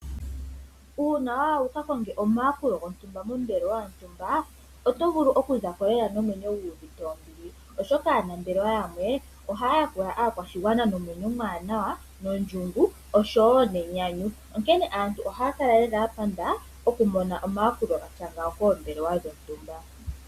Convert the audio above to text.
Uuna wa ya wu ka konge omayakulo kombelewa yontumba oto vulu oku za ko lela nomwenyo gu uvite ombili oshoka aanambelewa yamwe ohaya yakula aakwashigwana nomwenyo omwaanawa, nondjungu osho wo nenyanyu. Aantu ohaya kala ya nyanyukwa oku mona omayakulo ga tya ngawo koombelewa dhontumba.